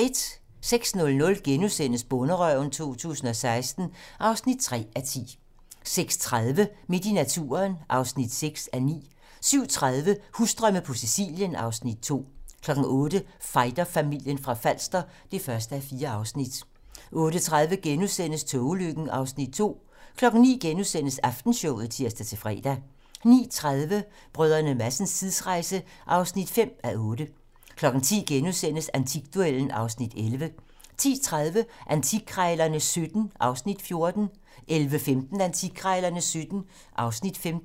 06:00: Bonderøven 2016 (3:10)* 06:30: Midt i naturen (6:9) 07:30: Husdrømme på Sicilien (Afs. 2) 08:00: Fighterfamilien fra Falster (1:4) 08:30: Togulykken (Afs. 2)* 09:00: Aftenshowet *(tir-fre) 09:30: Brdr. Madsens tidsrejse (5:8) 10:00: Antikduellen (Afs. 11)* 10:30: Antikkrejlerne XVII (Afs. 14) 11:15: Antikkrejlerne XVII (Afs. 15)